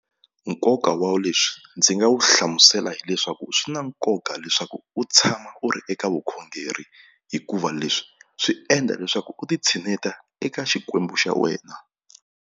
Nkoka wa leswi ndzi nga wu hlamusela hileswaku swi na nkoka leswaku u tshama u ri eka vukhongeri hikuva leswi swi endla leswaku u ti tshineta eka xikwembu xa wena.